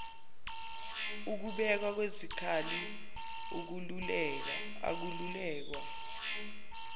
ukubekwa kwezikhali ukwaluleka